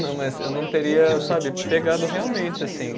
Não, mas eu não teria, sabe, pegado realmente, assim.